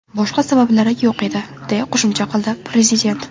Boshqa sabablari yo‘q edi”, deya qo‘shimcha qildi prezident.